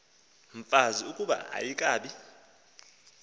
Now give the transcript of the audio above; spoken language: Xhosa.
mfazi ukuba ayikabi